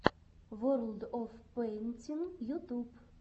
ворлд оф пэйнтин ютуб